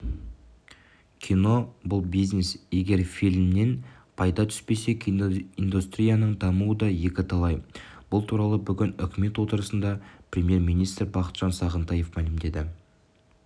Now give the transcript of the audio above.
кино бұл бизнес егер фильмнен пайда түспесе киноиндустрияның дамуы да екіталай бұл туралы бүгін үкімет отырысында премьер-министр бақытжан сағынтаев мәлімдеді